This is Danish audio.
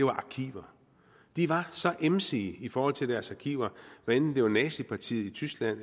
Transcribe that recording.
arkiver de var så emsige i forhold til deres arkiver hvad enten det var nazipartiet i tyskland